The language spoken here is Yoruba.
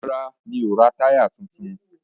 Rárá, mi ò ra táyà tuntun.